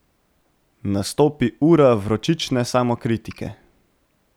Nastopi ura vročične samokritike.